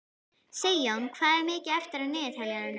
Sigjón, hvað er mikið eftir af niðurteljaranum?